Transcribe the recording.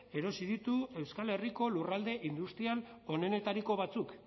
erosi ditu euskal herriko lurralde industrial onenetariko batzuk